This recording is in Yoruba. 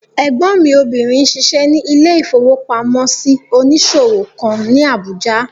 Ẹ̀gbọ́n mi obìnrin n ṣiṣẹ́ ní ilé-ìfowópamọ́sí onísòwò kan ní Àbújá